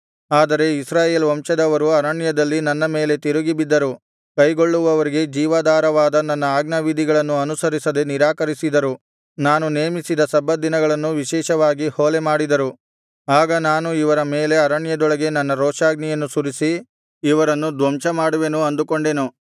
ಆದರೆ ಇಸ್ರಾಯೇಲ್ ವಂಶದವರು ಅರಣ್ಯದಲ್ಲಿ ನನ್ನ ಮೇಲೆ ತಿರುಗಿ ಬಿದ್ದರು ಕೈಗೊಳ್ಳುವವರಿಗೆ ಜೀವಾಧಾರವಾದ ನನ್ನ ಆಜ್ಞಾವಿಧಿಗಳನ್ನು ಅನುಸರಿಸದೆ ನಿರಾಕರಿಸಿದರು ನಾನು ನೇಮಿಸಿದ ಸಬ್ಬತ್ ದಿನಗಳನ್ನು ವಿಶೇಷವಾಗಿ ಹೊಲೆಮಾಡಿದರು ಆಗ ನಾನು ಇವರ ಮೇಲೆ ಅರಣ್ಯದೊಳಗೆ ನನ್ನ ರೋಷಾಗ್ನಿಯನ್ನು ಸುರಿಸಿ ಇವರನ್ನು ಧ್ವಂಸಮಾಡುವೆನು ಅಂದುಕೊಂಡೆನು